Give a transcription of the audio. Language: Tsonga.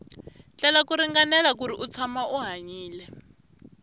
tlela ku ringanela kuri u tshama u hanyile